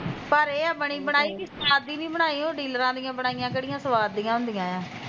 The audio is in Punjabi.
ਪਰ ਇਹ ਐ ਬਣੀ ਬਣਾਈ ਕਿ ਸਵਾਰ ਦੀ ਬਣਾਈ ਹੋਈ ਓਹ ਡੀਲਰਾਂ ਦੀਆ ਬਣਾਈਆ ਹੋਈਆ ਕਿਹੜੀਆ ਸਵਾਰ ਦੀਆ ਹੁੰਦੀਆ ਐ